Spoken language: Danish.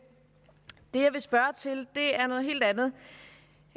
det jeg vil spørge til er noget helt andet